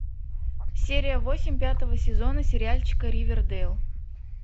серия восемь пятого сезона сериальчика ривердэйл